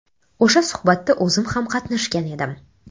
O‘sha suhbatda o‘zim ham qatnashgan edim.